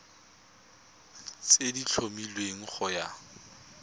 tse di tlhomilweng go ya